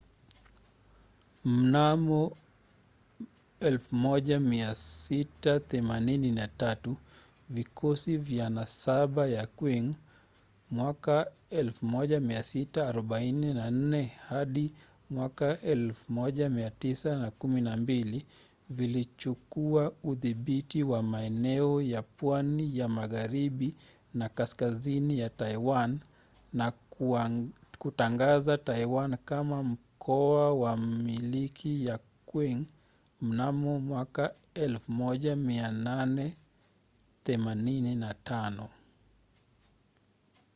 mnamo 1683 vikosi vya nasaba ya qing 1644-1912 vilichukua udhibiti wa maeneo ya pwani ya magharibi na kaskazini ya taiwan na kutangaza taiwan kama mkoa wa milki ya qing mnamo 1885